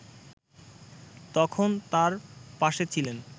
তখন তার পাশে ছিলেন